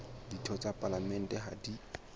ditho tsa palamente ha di